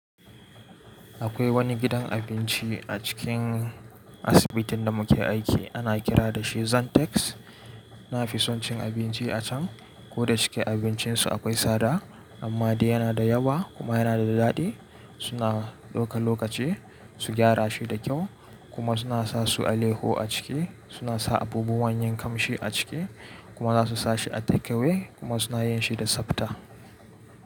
Akwai wani gidan abinci a cikin asibitin da muke aiki ana kira da shi Zantex. Na fi son cin abinci a can ko da cike abincinsu akwai sada, amma dai yana da yawa kuma yana da daɗi. Suna ɗoka lokaci su gyara shi da kyau, kuma suna sa su aleyahu a ciki, suna sa abubuwan yin kamshi a ciki. Kuma za su sa shi a takewe kuma suna yin shi da tsafta.